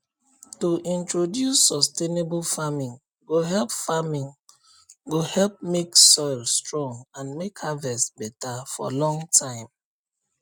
to introduce sustainable farming go help farming go help make soil strong and make harvest beta for long time